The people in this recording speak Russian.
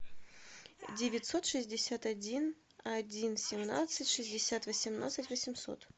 девятьсот шестьдесят один один семнадцать шестьдесят восемнадцать восемьсот